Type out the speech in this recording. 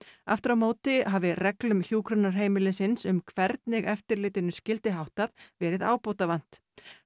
aftur á móti hafi reglum hjúkrunarheimilisins um hvernig eftirlitinu skyldi háttað verið ábótavant